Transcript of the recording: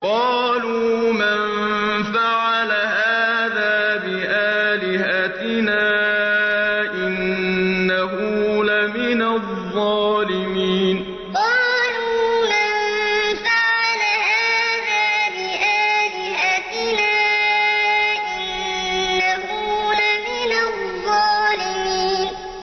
قَالُوا مَن فَعَلَ هَٰذَا بِآلِهَتِنَا إِنَّهُ لَمِنَ الظَّالِمِينَ قَالُوا مَن فَعَلَ هَٰذَا بِآلِهَتِنَا إِنَّهُ لَمِنَ الظَّالِمِينَ